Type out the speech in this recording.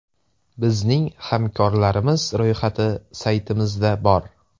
Bizning hamkorlarimiz ro‘yxati saytimizda bor.